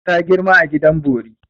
Ta girma a gidan bori.